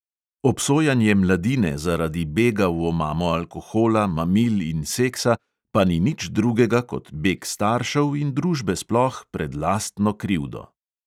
Obsojanje mladine zaradi bega v omamo alkohola, mamil in seksa pa ni nič drugega kot beg staršev in družbe sploh pred lastno krivdo.